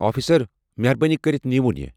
Officer, مہربٲنی کٔرتھ نِیوُن یہِ۔